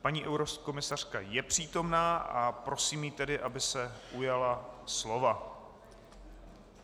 Paní eurokomisařka je přítomna a prosím ji tedy, aby se ujala slova.